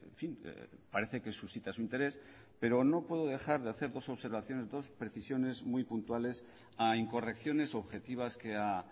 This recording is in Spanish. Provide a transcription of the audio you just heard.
fin parece que suscita su interés pero no puedo dejar de hacer dos observaciones dos precisiones muy puntuales a incorrecciones objetivas que ha